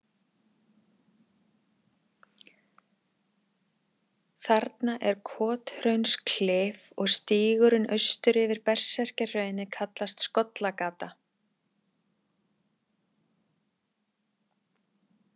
Þarna er Kothraunsklif og stígurinn austur yfir Berserkjahraunið kallast Skollagata.